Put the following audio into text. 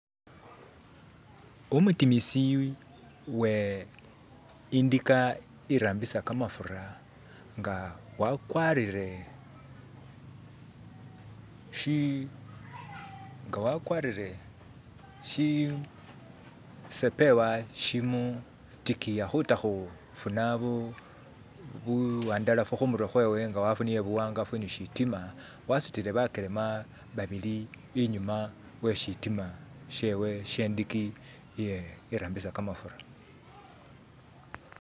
Umutimisi uwe indika irambisa kamafura nga wakwarire shisepewa shimutikiya khuta khufuna buwandalafu khumurwe khwewe nga wafunile buwangafu ne shitima, wasutile bakelema babili inyuma we shitima shewe shendika irambisa kamafura.